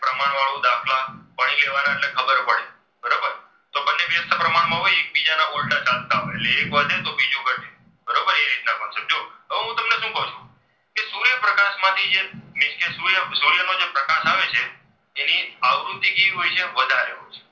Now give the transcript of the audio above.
પ્રમાણમાં હોય તો એકબીજાના ઉલ્ટા ચાલતા હોય છે એક વધે તો બીજું ઘટે બરોબર. કેટલા પાછળ હવે હું તમને શું કહું છું કે સૂર્યપ્રકાશ માંથી મીન્સ કે સૂર્યપ્રકાશ આવે છે તેની આવૃત્તિ કેવી હોય છે વધારે હોય છે.